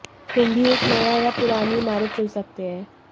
तुम भी एक नया या पुरानी इमारत चुन सकते हैं